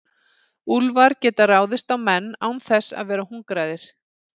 úlfar geta ráðist á menn án þess að vera hungraðir